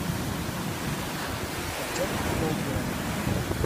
отчет кольбера